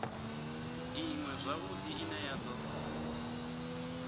iṅwe zwavhudi ine ya do